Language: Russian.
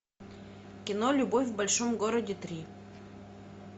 кино любовь в большом городе три